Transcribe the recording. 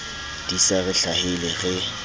di sa re hlahele re